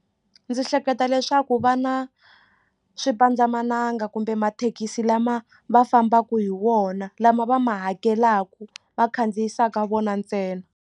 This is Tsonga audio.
Ndzi hleketa leswaku vana swipandzamananga kumbe mathekisi lama va fambaka hi wona lama va ma hakelaka va khandziyisaka vona ntsena.